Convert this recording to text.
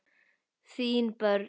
Þín börn.